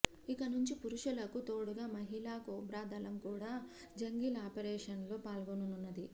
ఇక నుంచి పురుషులకు తోడుగా మహిళా కోబ్రా దళం కూడా జంగిల్ ఆపరేషన్స్లో పాల్గొననున్నది